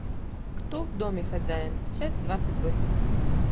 кто в доме хозяин часть двадцать восемь